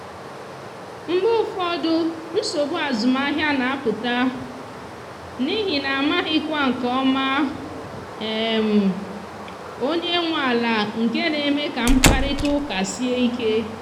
mgbe ụfọdụ nsogbu azụmahịa na apụta n’ihi na amaghịkwa nke ọma um onye nwe ala nke na eme ka mkparịta ụka sie ike